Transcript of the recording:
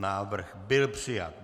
Návrh byl přijat.